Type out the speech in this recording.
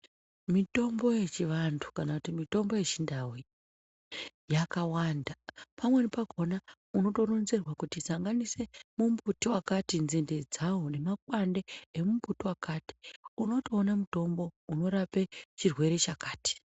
Mitombo yechivanthu kana kuti mitombo yechindau iyi yakawanda. Pamweni pakhona unotorenzerwe kuti sanganise mumbuti wakati nzinde dzawo nemakwande emumbuti wakati, unotoona mutombo unorape chirwere chakati.